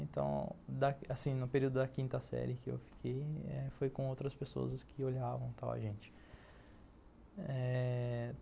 Então, assim, no período da quinta série que eu fiquei eh, foi com outras pessoas que olhavam a gente eh